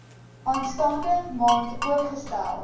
aanstaande maand oopgestel